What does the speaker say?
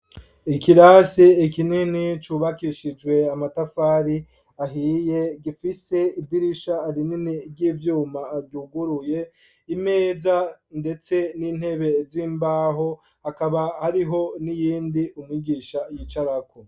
Ikirasi ikinini cubakishijwe amatafari ahiye gifise idirisha arinini ry'ivyuma guguruye imeja ndetse n'intebe z'imbaho akaba hariho n'iyindi umigisha yicaraku